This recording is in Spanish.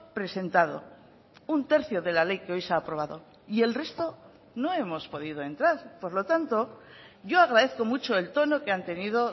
presentado un tercio de la ley que hoy se ha aprobado y el resto no hemos podido entrar por lo tanto yo agradezco mucho el tono que han tenido